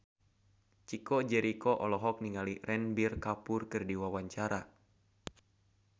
Chico Jericho olohok ningali Ranbir Kapoor keur diwawancara